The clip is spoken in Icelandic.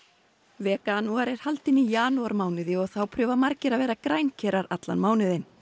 veganúar er haldinn í janúarmánuði og þá prófa margir að vera allan mánuðinn